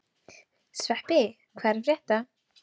Sveppi, hvað er að frétta?